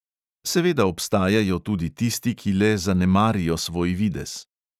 Seveda obstajajo tudi tisti, ki le zanemarijo svoj videz.